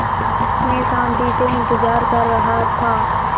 मैं शान्ति से इंतज़ार कर रहा था